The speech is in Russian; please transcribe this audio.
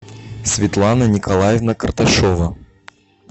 светлана николаевна карташова